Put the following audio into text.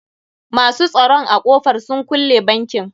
Masu tsoron a ƙofar sun kulle bankin.